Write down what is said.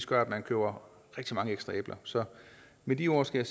gør at man køber rigtig mange ekstra æbler så med de ord skal